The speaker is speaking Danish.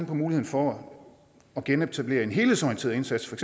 på muligheden for at genetablere en helhedsorienteret indsats for